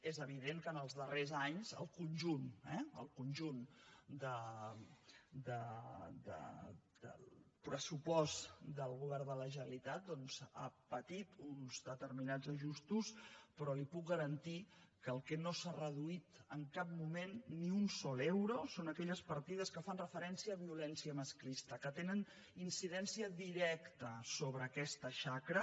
és evident que ens els darrers anys el conjunt el conjunt eh del pressupost del govern de la generalitat ha patit uns determinats ajustos però li puc garantir que el que no s’ha reduït en cap moment ni un sol euro són aquelles partides que fan referència a violència masclista que tenen incidència directa sobre aquesta xacra